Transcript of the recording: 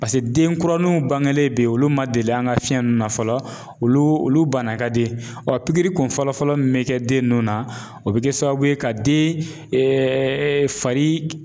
den kuraninw bangelen be yen olu ma deli an ga fiɲɛ nunnu na fɔlɔ olu olu bana ka di ɔ pikiri kun fɔlɔ fɔlɔ min bɛ kɛ den ninnu na o bi kɛ sababu ye ka den fari